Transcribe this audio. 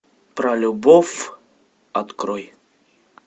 про любовь открой